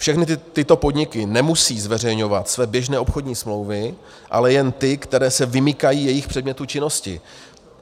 Všechny tyto podniky nemusejí zveřejňovat své běžné obchodní smlouvy, ale jen ty, které se vymykají jejich předmětu činnosti.